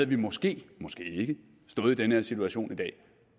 vi måske måske ikke stået i den her situation i dag